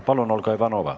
Palun, Olga Ivanova!